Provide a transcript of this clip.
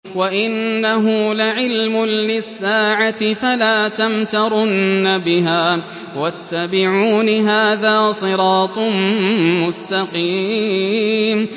وَإِنَّهُ لَعِلْمٌ لِّلسَّاعَةِ فَلَا تَمْتَرُنَّ بِهَا وَاتَّبِعُونِ ۚ هَٰذَا صِرَاطٌ مُّسْتَقِيمٌ